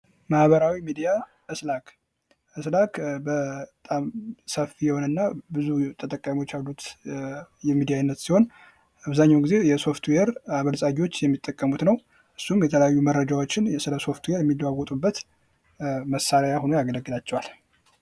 ማህበራዊ ሚዲያ ስላክ ስላክ በጣም ሰፊ የሆነና ብዙ ተጠቃሚዎች ያሉት የሚዲያ አይነት ሲሆን አብዛኛውን ጊዜ የሶፍትዌር አበልጻጊዎች የሚጠቀሙት ነው እሱም የተለያዩ መረጃዎችን ስለሶፍትዌር የሚለዋወጡበት መሳሪያ ሁኖ ያገለግላቸዋል